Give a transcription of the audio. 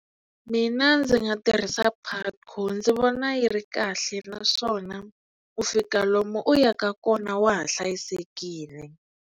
Mina ndzi nga tirhisa Putco ndzi vona yi ri kahle naswona ku fika lomu u yaka kona wa ha hlayisekile.